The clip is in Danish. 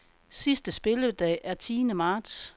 Sidste spilledag er tiende marts.